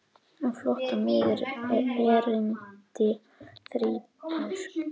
Á flótta mig erindi þrýtur.